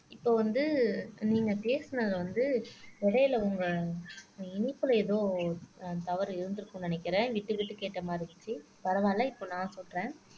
இப்ப வந்து நீங்க பேசினது வந்து இடையில உங்க இனைப்புல ஏதோ தவறு இருந்திருக்கும்ன்னு நினைக்கிறேன் விட்டு விட்டு கேட்ட மாரி இருந்துச்சு பரவாயில்ல இப்ப நான் சொல்றேன்